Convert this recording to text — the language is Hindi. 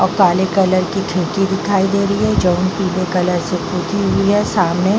और काले कलर की खिड़की दिखाई दे रही है जो पीले कलर से पुती हुई है। सामने --